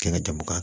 Kɛ ka jaba